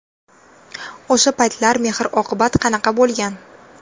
O‘sha paytlar mehr-oqibat qanaqa bo‘lgan?